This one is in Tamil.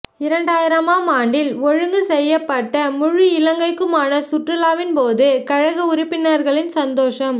இரண்டாயிரமாம் ஆண்டில் ஒழுங்கு செய்யப்பட்ட முழு இலங்கைக்குமான சுற்றுலாவின் போது கழக உறுப்பினர்களின் சந்தோஷ